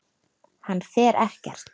Hann fer ekkert.